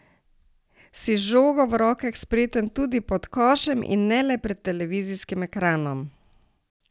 Si z žogo v rokah spreten tudi pod košem in ne le pred televizijskim ekranom?